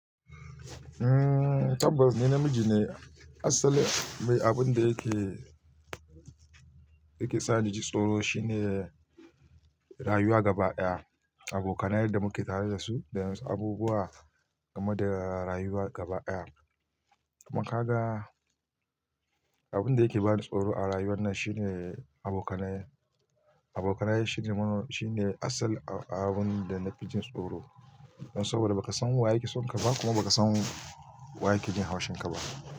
Mm, tabbas ni namiji ne. Asalin me abun da yake, yake sa naji tsoro shine rayuwa gaba daya. Abokanen yar da muke tare da su abubuwa kamar da rayuwa gaba daya. Kuma kagan abin da yake bani tsoro a rayuwar nan shine abokanaye. Abokanaye shine man, shine asal abun da na fi jin tsoro. Saboda ba ka san wa yake son ka ba kuma ba ka san wa yake jin haushin ka ba.